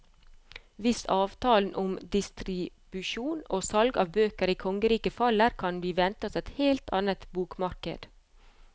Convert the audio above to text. Hvis avtalen om distribusjon og salg av bøker i kongeriket faller, kan vi vente oss et helt annet bokmarked.